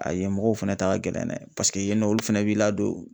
A yen mɔgɔw fana ta ka gɛln dɛ, paseke yen nɔ, olu fana b'i ladon.